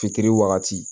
Fitiri wagati